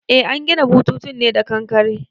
Eh an gina bututun ne da kankare